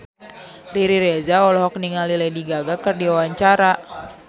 Riri Reza olohok ningali Lady Gaga keur diwawancara